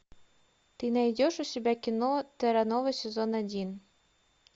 ты найдешь у себя кино терра нова сезон один